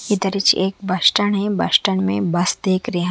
इधर हीच एक बस स्टेंड हे बस स्टेंड में बस देख रीया--